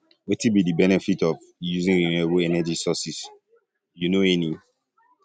um wetin be di benefit of um using um renewable energy sources you know any